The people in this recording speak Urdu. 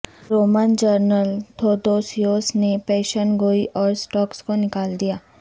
رومن جنرل تھودوسیوس نے پیشن گوئی اور سکاٹس کو نکال دیا